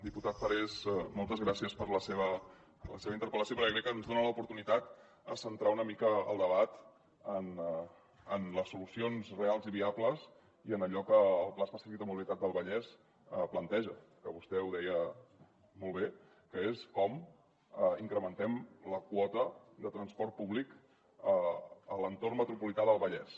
diputat parés moltes gràcies per la seva interpel·lació perquè crec que ens dona l’oportunitat de centrar una mica el debat en les solucions reals i viables i en allò que el pla específic de mobilitat del vallès planteja que vostè ho deia molt bé que és com incrementem la quota de transport públic a l’entorn metropolità del vallès